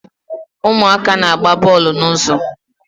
Ụmụaka na-agba bọọlụ n'ụzọ